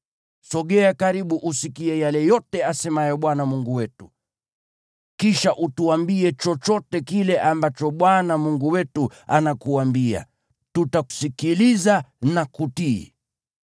Sogea karibu usikie yale yote asemayo Bwana Mungu wetu. Kisha utuambie chochote kile ambacho Bwana Mungu wetu anakuambia. Tutasikiliza na kutii.”